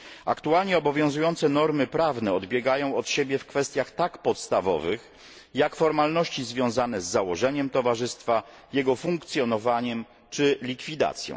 Aktualnie obowiązujące normy prawne odbiegają od siebie w kwestiach tak podstawowych, jak formalności związane z założeniem towarzystwa, jego funkcjonowaniem czy likwidacją.